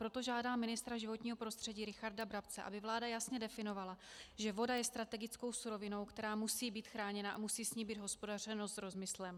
Proto žádám ministra životního prostředí Richarda Brabce, aby vláda jasně definovala, že voda je strategickou surovinou, která musí být chráněna a musí s ní být hospodařeno s rozmyslem.